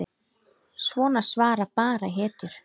Svona svara bara hetjur.